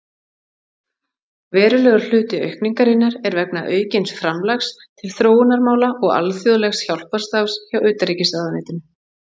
Verulegur hluti aukningarinnar er vegna aukins framlags til þróunarmála og alþjóðlegs hjálparstarfs hjá utanríkisráðuneytinu.